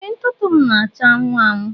Ee ntụtụ m na-acha anwụ anwụ